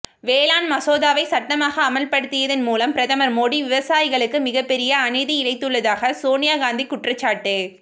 வேளாண் மசோதாவை சட்டமாக அமல்படுத்தியதன் மூலம் பிரதமர் மோடி விவசாயிகளுக்கு மிகப்பெரிய அநீதி இழைத்துள்ளதாக சோனியா காந்தி குற்றச்சாட்டு